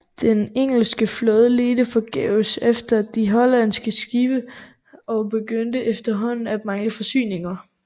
Den engelske flåde ledte forgæves efter de hollandske skibe og begyndte efterhånden at mangle forsyninger